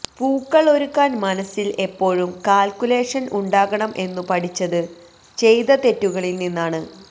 പൂക്കൾ ഒരുക്കാൻ മനസ്സിൽ എപ്പോഴും കാൽക്കുലേഷൻ ഉണ്ടാകണം എന്നു പഠിച്ചത് ചെയ്ത തെറ്റുകളിൽ നിന്നാണ്